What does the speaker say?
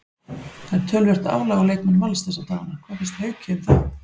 Það er töluvert álag á leikmenn Vals þessa dagana, hvað finnst Hauki um það?